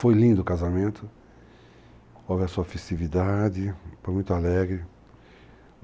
Foi lindo o casamento, houve a sua festividade, foi muito alegre.